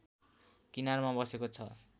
किनारमा बसेको छ